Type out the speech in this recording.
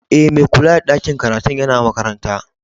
E, mai kulla da ɗakin karatun yana makaranta.